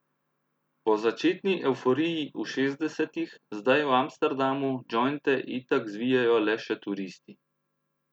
Po začetni evforiji v šestdesetih zdaj v Amsterdamu džojnte itak zvijajo le še turisti.